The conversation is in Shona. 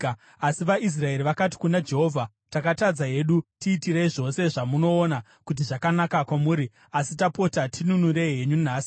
Asi vaIsraeri vakati kuna Jehovha, “Takatadza hedu. Tiitirei zvose zvamunoona kuti zvakanaka kwamuri, asi tapota tinunurei henyu nhasi.”